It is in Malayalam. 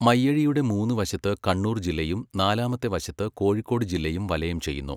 മയ്യഴിയുടെ മൂന്ന് വശത്ത് കണ്ണൂർ ജില്ലയും നാലാമത്തെ വശത്ത് കോഴിക്കോട് ജില്ലയും വലയം ചെയ്യുന്നു.